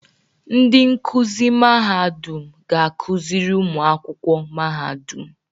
Ndị nkuzi Mahadum ga-akụziri ụmụ akwụkwọ Mahadum.